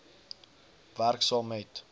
werk saam met